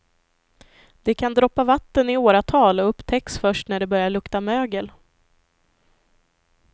Det kan droppa vatten i åratal och upptäcks först när det börjar lukta mögel.